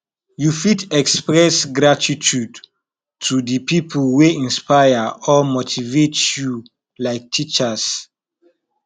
you fit express gratitude to di people wey inspire or motivate you like teachers